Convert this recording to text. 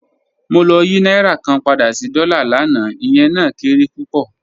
Mo lọ̀ yí nàírà kàn pádà sí dọ́là láńà, ìyẹ̀ náà kéré púpọ́